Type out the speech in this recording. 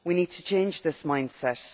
We need to change this mind set.